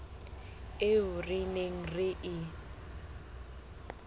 eo re neng re e